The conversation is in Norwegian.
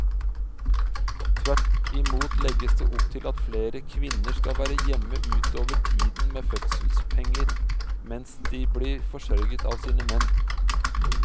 Tvert imot legges det opp til at flere kvinner kan være hjemme utover tiden med fødselspenger mens de blir forsørget av sine menn.